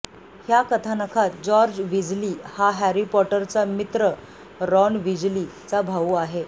ह्या कथानकात George Weasley हा हॅरी पॉटर चा मित्र रॉन विजली चा भाउ आहे